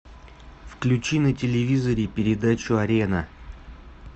включи на телевизоре передачу арена